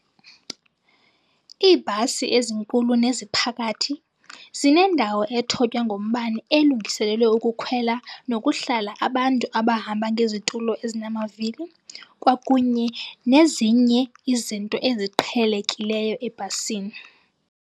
Iibhasi ezinkulu neziphakathi zinendawo ethotywa ngombane elungiselelwe ukukhwela nokuhlala abantu abahamba ngezitulo ezinamavili kwakunye nezinye izinto eziqhelekileyo ebhasini.